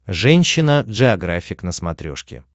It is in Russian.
женщина джеографик на смотрешке